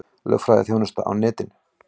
Lögfræðiþjónusta á netinu